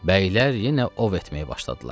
Bəylər yenə ov etməyə başladılar.